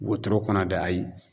Wotoro kɔnɔ dɛ ayi